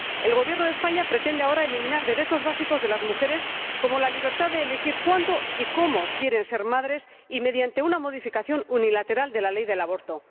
El Gobierno de España pretende ahora eliminar derechos básicos de las mujeres, como la libertad de elegir cuándo y cómo quieren ser madres, mediante una modificación unilateral de la Ley del aborto.